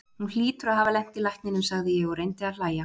Hún hlýtur að hafa lent í lækninum, sagði ég og reyndi að hlæja.